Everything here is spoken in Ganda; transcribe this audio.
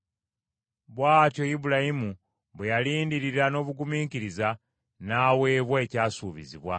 Bw’atyo Ibulayimu bwe yalindirira n’obugumiikiriza, n’aweebwa ekyasuubizibwa.